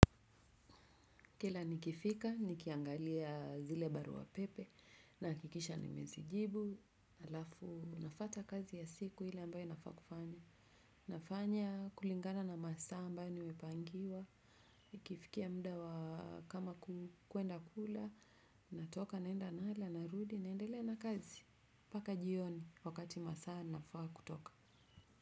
Kila nikifika, nikiangalia zile barua pepe, nahakikisha nimezijibu, halafu, nafuata kazi ya siku ile ambayo inafaa kufanywa. Nafanya kulingana na masaa ambayo nimepangiwa, ikifikia muda wa kama kwenda kula, natoka, naenda nala, narudi, naendelea na kazi. Mpaka jioni wakati masaa ninafaa kutoka.